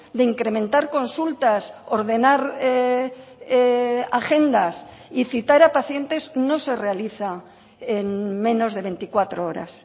de incrementar consultas ordenar agendas y citar a pacientes no se realiza en menos de veinticuatro horas